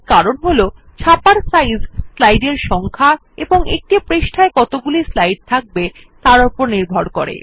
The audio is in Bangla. এর কারণ হল ছাপার সাইজ স্লাইডের সংখ্যা এবং একটি পৃষ্ঠায় কতগুলি স্লাইড থাকবে তার উপর নির্ভর করে